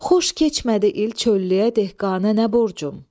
Xoş keçmədi il, çöllüyədək qanə nə borcum?